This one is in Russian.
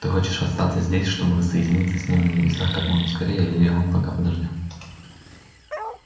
ты хочешь остаться здесь чтобы воссоединиться с ним на небесах как можно скорее или он пока подождёт